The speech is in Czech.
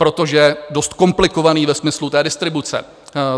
Protože je dost komplikovaný ve smyslu té distribuce.